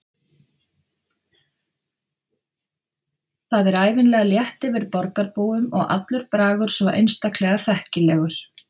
Það er ævinlega létt yfir borgarbúum og allur bragur svo einstaklega þekkilegur.